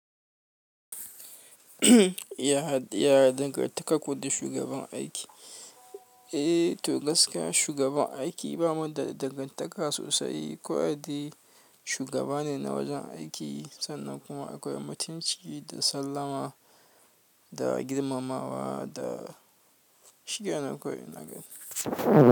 Ya dangantakar ku da shugaban aiki? Eh, to gaskiya shugaban aiki ba mu da dangantaka sosai. Kawai dai shugaba ne na wajen aiki sannan kuma akwai mutunci da sallama da girmamawa da shi kenan kawai ina gani.